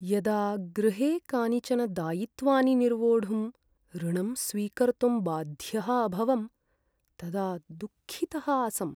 यदा गृहे कानिचन दायित्वानि निर्वोढुं ऋणं स्वीकर्तुं बाध्यः अभवम् तदा दुःखितः आसम्।